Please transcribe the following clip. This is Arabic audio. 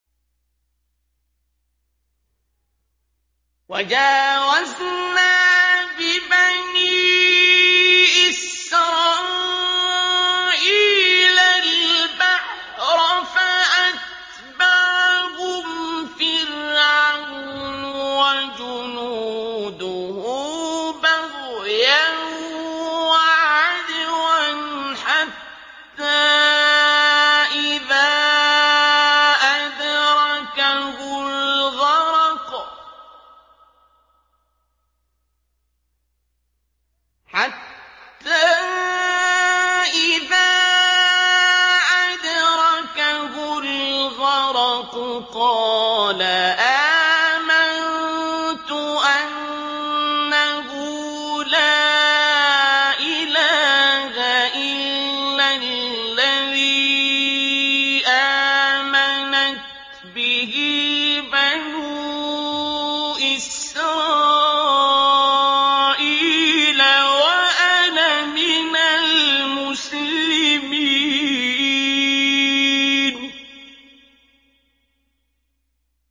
۞ وَجَاوَزْنَا بِبَنِي إِسْرَائِيلَ الْبَحْرَ فَأَتْبَعَهُمْ فِرْعَوْنُ وَجُنُودُهُ بَغْيًا وَعَدْوًا ۖ حَتَّىٰ إِذَا أَدْرَكَهُ الْغَرَقُ قَالَ آمَنتُ أَنَّهُ لَا إِلَٰهَ إِلَّا الَّذِي آمَنَتْ بِهِ بَنُو إِسْرَائِيلَ وَأَنَا مِنَ الْمُسْلِمِينَ